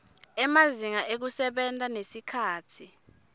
emazinga ekusebenta nesikhatsi